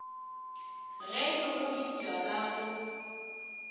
ge di godipwa ka go